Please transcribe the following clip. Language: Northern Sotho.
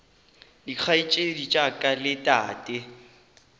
dikgaetšedi tša ka le tate